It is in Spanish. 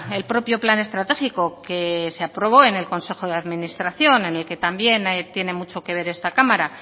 el propio plan estratégico que se aprobó en el consejo de administración en el que también tiene mucho que ver esta cámara